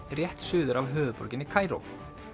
rétt suður af höfuðborginni Kaíró